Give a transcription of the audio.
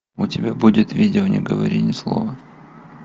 у тебя будет видео не говори ни слова